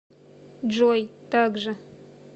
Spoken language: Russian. джой так же